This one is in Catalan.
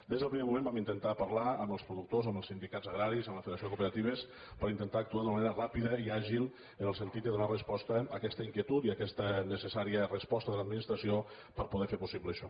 des del primer moment vam intentar parlar amb els productors amb els sindicats agraris amb la federació de cooperatives per intentar actuar d’una manera ràpida i àgil en el sentit de donar resposta a aquesta inquietud i a aquesta necessària resposta de l’administració per poder fer possible això